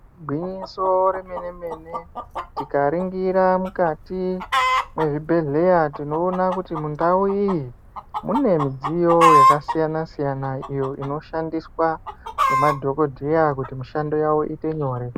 Gwinyiso remene mene, tikaringira mukati mwezvibhedhlera tinoona kuti mundau iyi mune midziyo yakasiyana siyana iyo inoshandiswa ngemadhokodheya kuti mishando yavo iite nyore